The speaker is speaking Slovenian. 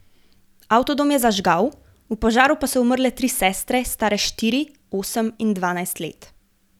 Avtodom je zažgal, v požaru pa so umrle tri sestre, stare štiri, osem in dvajset let.